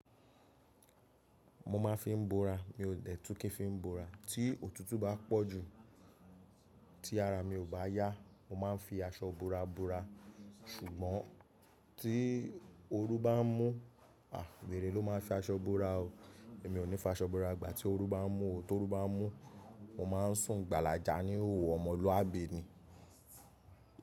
Mo máa fi ń bora, mi ò dẹ̀ tú kí ń fi bora. Tí òtútù bá pọ̀ jù tí ara mi ò bá yá, mo máa ń fi aṣọ bora bo'ra. Sùgbọ́n tí oru bá ń mú, à weré ló máa fi aṣọ bora o. Èmi ò ní fi aṣọ bora. Ìgbà tí oru bá ń mú ọ, tó oru bá ń mú, mo máa ń sùn gbàlàjà ní òhò ọmọlúàbì ni.